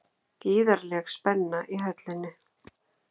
Gríðarleg spenna í Höllinni